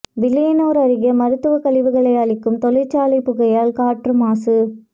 வில்லியனூர் அருகே மருத்துவ கழிவுகளை அழிக்கும் தொழிற்சாலை புகையால் காற்று மாசு